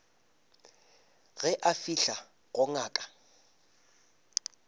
ge a fihla go ngaka